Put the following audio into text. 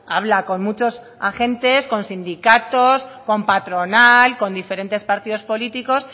habla con muchos agentes con sindicatos con patronal con diferentes partidos políticos